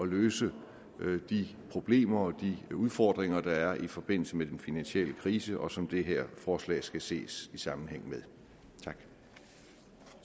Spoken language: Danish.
løse de problemer og de udfordringer der er i forbindelse med den finansielle krise og som det her forslag skal ses i sammenhæng med